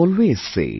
We always say